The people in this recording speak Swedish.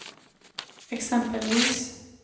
exempelvis